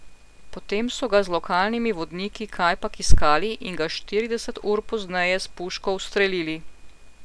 Potem so ga z lokalnimi vodniki kajpak iskali in ga štirideset ur pozneje s puško ustrelili.